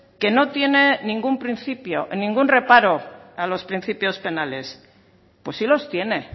que no tienen ningún principio ningún reparo a los principios penales pues sí los tiene